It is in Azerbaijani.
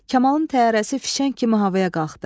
Kamalın təyyarəsi fişəng kimi havaya qalxdı.